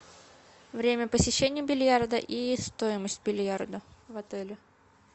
время посещения бильярда и стоимость бильярда в отеле